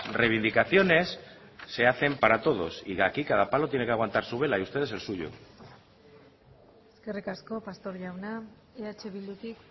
reivindicaciones se hacen para todos y aquí cada palo tiene que aguantar su vela y ustedes el suyo eskerrik asko pastor jauna eh bildutik